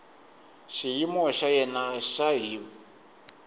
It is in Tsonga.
xiyimo xa yena xa hiv